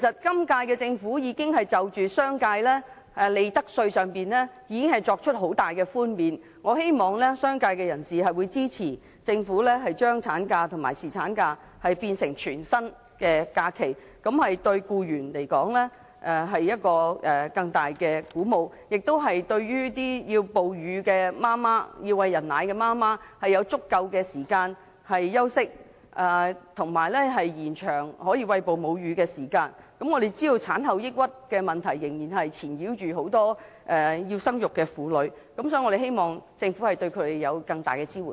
今屆政府在利得稅上已經對商界作出了很大的寬免，我希望商界人士會支持政府把產假及侍產假變成全薪假期，這對僱員來說是更大的鼓舞，哺乳的媽媽有足夠時間休息，亦可以延長餵哺母乳的時間，我們知道產後抑鬱的問題仍然困擾很多要生育的婦女，所以，我們希望政府對她們提供更大的支援。